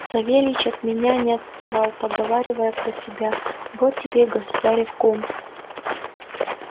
савельич от меня не отставал поговаривая про себя вот тебе и государев кум